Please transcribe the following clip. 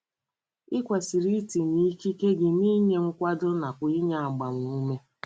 I kwesịrị itinye ikike gị n’inye nkwado nakwa n’inye agbamume.